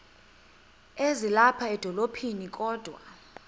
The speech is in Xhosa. ezilapha edolophini kodwa